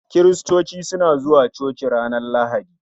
Kiristoci suna zuwa coci ranar Lahadi